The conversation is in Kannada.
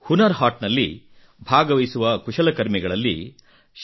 ಹುನರ್ ಹಾಟ್ ನಲ್ಲಿ ಭಾಗವಹಿಸುವ ಕುಶಲಕರ್ಮಿಗಳಲ್ಲಿ ಶೇ